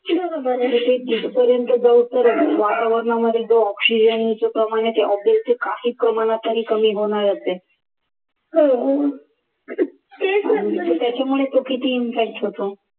वातावरणामधील oxygen च प्रमाण आहे ते obviously काही प्रमाणात तरी कमी होणारच आहे त्याच्यामुळे किती impact होतो